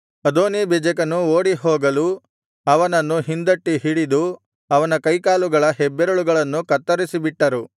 ಅದೋನೀಬೆಜೆಕನು ಓಡಿಹೋಗಲು ಅವನನ್ನು ಹಿಂದಟ್ಟಿ ಹಿಡಿದು ಅವನ ಕೈಕಾಲುಗಳ ಹೆಬ್ಬೆರಳುಗಳನ್ನು ಕತ್ತರಿಸಿಬಿಟ್ಟರು